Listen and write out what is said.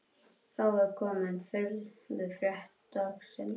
Þá er komið að furðufrétt dagsins